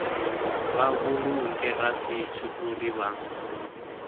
vha vhulunge rasithi uri vha